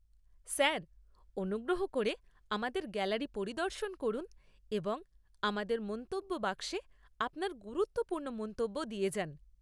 Sir, অনুগ্রহ করে আমাদের গ্যালারি পরিদর্শন করুন এবং আমাদের মন্তব্য বাক্সে আপনার গুরুত্বপূর্ণ মন্তব্য দিয়ে যান।